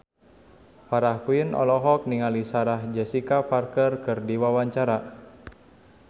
Farah Quinn olohok ningali Sarah Jessica Parker keur diwawancara